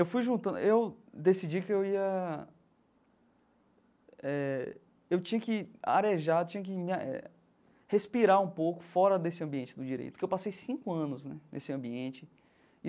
Eu fui juntando... Eu decidi que eu ia eh... Eu tinha que arejar, tinha que eh respirar um pouco fora desse ambiente do direito, porque eu passei cinco anos né nesse ambiente.